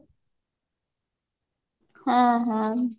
ହଁ ହଁ